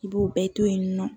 I b'o bɛɛ to yen nɔ